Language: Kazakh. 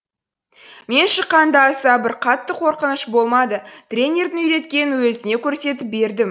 мен шыққан да аса бір қатты қорқыныш болмады тренердің үйреткенін өзіне көрсетіп бердім